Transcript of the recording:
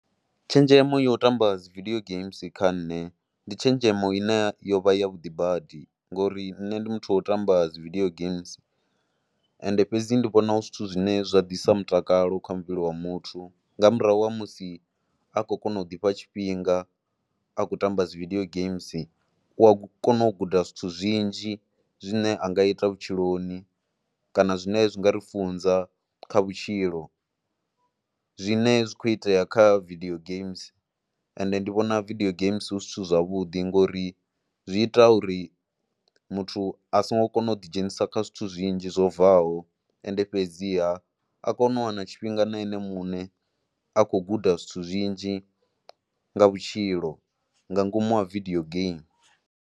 Tshenzhemo ya u tamba dzi video games kha nṋe ndi tshenzhemo ine yo vha yavhuḓi badi ngori nṋe ndi muthu wo ṱamba dzi video games ende fhedzi ndi vhona hu zwithu zwine zwa ḓisa mutakalo kha muvhili wa muthu nga murahu ha musi a khou kona u ḓifha tshifhinga a kho tamba dzi video games. U a kona u guda zwithu zwinzhi zwine a nga ita vhutshiloni kana zwine zwi nga ri funza kha vhutshilo zwine zwi khou itea kha video games. Ende ndi vhona video games hu zwithu zwavhuḓi ngori zwi ita uri muthu a songo kona u ḓidzhenisa kha zwithu zwinzhi zwo bvaho ende fhedziha a kone u wana tshifhinga na ene muṋe, a khou guda zwithu zwinzhi nga vhutshilo nga ngomu ha video game.